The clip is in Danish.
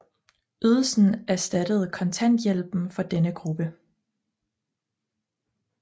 Ydelsen erstattede kontanthjælpen for denne gruppe